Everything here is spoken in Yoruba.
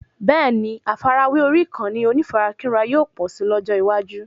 Bẹ́ẹ̀ni, àfàrawé orí ìkànnì onífarakínra yóò pọ̀ si lójó iwaju